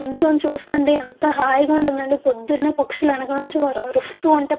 నించొని చూస్తుంటే ఎంత హాయిగా ఉంటుందంటే పొద్దునే పక్షులు ఎనకనుంచి అరుస్తూ ఉంటే --